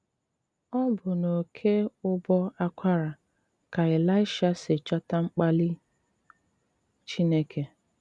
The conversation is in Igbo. Ọbụ́ n’oké́ ụbọ́ ákwará ká Eláịsha sí chọ́tà mkpálí Chínéké.